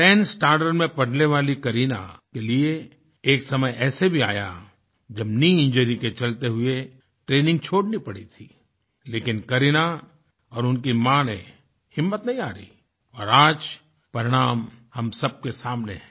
10th standard में पढ़ने वाली करीना के लिए एक समय ऐसा भी आया जबknee इंजुरी के चलते हुए ट्रेनिंग छोड़नी पड़ी थी लेकिन करीना और उनकी माँ ने हिम्मत नहीं हारी और आज परिणाम हम सब के सामने है